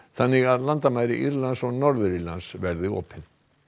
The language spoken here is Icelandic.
þannig að landamæri Írlands og Norður Írlands verði opin